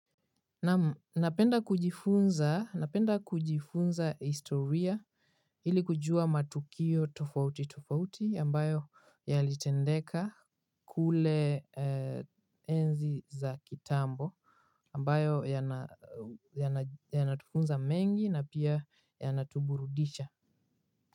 Napenda kujifunza historia ili kujua matukio tofauti tofauti ambayo yalitendeka kule enzi za kitambo ambayo yanatufunza mengi na pia ya natuburudicha.